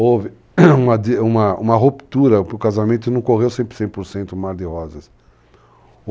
Houve uma uma ruptura, porque o casamento não correu sempre 100%, o mar de rosas.